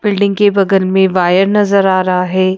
Building के बगल में वायर नजर आ रहा है।